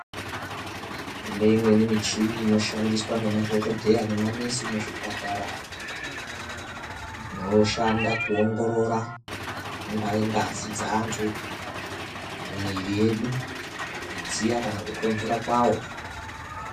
Kune imweni michini inoshandiswa nemadhokodheya nema nesi muzvipatara. Inoshanda kuwongorora, ingaye ngazi dzantu, mwiri yedu, kudziya kana kutonhora kwayo.